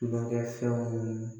Tulonkɛfɛnw